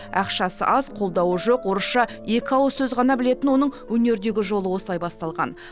ақшасы аз қолдауы жоқ орысша екі ауыз сөз ғана білетін оның өнердегі жолы осылай басталған